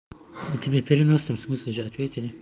тебе в переносном смысле же ответили